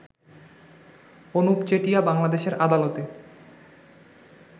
অনুপ চেটিয়া বাংলাদেশের আদালতে